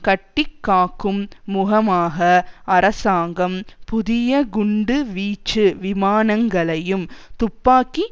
கட்டி காக்கும் முகமாக அரசாங்கம் புதிய குண்டு வீச்சு விமானங்களையும் துப்பாக்கி